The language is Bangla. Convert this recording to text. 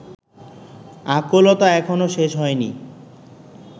আকুলতা এখনো শেষ হয়নি